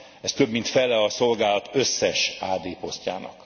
Ez több mint fele a szolgálat összes AD posztjának.